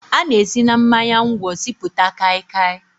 A na-esi na mmanya ngwọ sipụta Kai kai